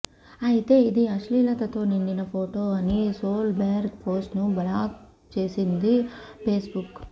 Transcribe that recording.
అయితే ఇది అశ్లీలతతో నిండిన ఫొటో అని సోల్ బెర్గ్ పోస్ట్ ను బ్లాక్ చేసింది ఫేస్ బుక్